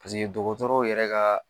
Paseke dɔgɔtɔrɔw yɛrɛ ka